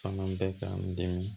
Fanga bɛ ka n dɛmɛ